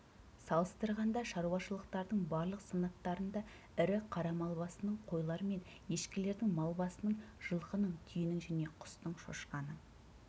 салыстырғанда шаруашылықтардың барлық санаттарында ірі қара мал басының қойлар мен ешкілердің мал басының жылқының түйенің және құстың шошқаның